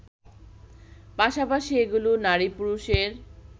পাশাপাশি এগুলো নারী-পুরুষের